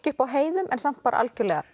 upp á heiðum en samt bara algjörlega